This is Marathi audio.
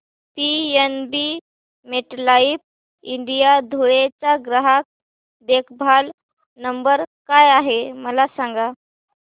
पीएनबी मेटलाइफ इंडिया धुळे चा ग्राहक देखभाल नंबर काय आहे मला सांगा